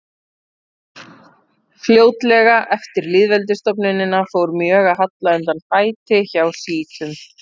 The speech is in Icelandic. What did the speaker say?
Fljótlega eftir lýðveldisstofnunina fór mjög að halla undan fæti hjá sjítum.